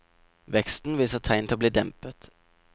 Veksten viser tegn til å bli dempet.